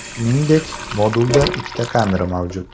Shuningdek, modulda ikkita kamera mavjud.